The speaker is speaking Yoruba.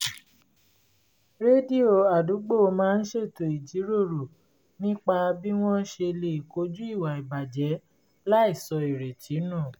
rédíò àdúgbò máa ń ṣètò ìjíròrò nípa b́ wọ́n ṣe lè kojú ìwà ìbàjẹ́ láìsọ ìrètí nù